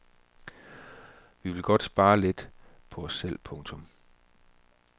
Vi vil godt spare lidt på os selv. punktum